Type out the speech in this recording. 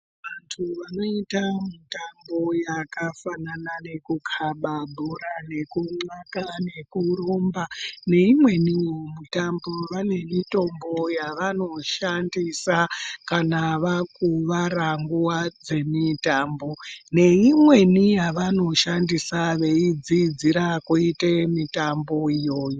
Vantu vanoita mitambo yakafanana nekukaba bhora nekunxaka nekurumba neimwenivo mitambo vane mitombo yavanoshandisa kana vakuvara nguva dzemitambo. Neimweni yavanoshandisa veidzidzira kuite mitambo iyoyo.